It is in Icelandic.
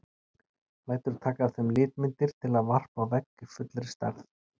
Lætur taka af þeim litmyndir til að varpa á vegg í fullri stærð.